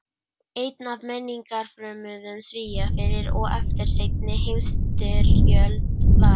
Einn af menningarfrömuðum Svía fyrir og eftir seinni heimsstyrjöld var